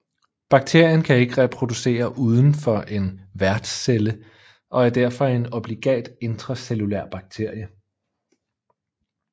Bakterien kan ikke reproducere uden for en værtscelle og er derfor en obligat intracellulær bakterie